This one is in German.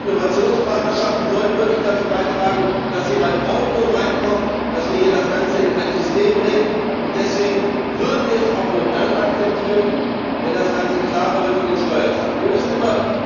Die Innovationspartnerschaften sollten wirklich dazu beitragen, dass hier Ordnung hereinkommt, dass wir das Ganze in ein System bringen, und deswegen würden wir es auch nur dann akzeptieren, wenn das Ganze für den Steuerzahler klarer wird.